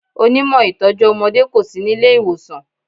Onímọ̀ ìtọ́jú ọmọdé kò sí nílé ìwòsàn.